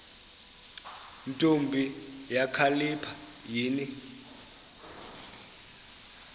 ntombi kakhalipha yini